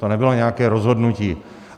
To nebylo nějaké rozhodnutí.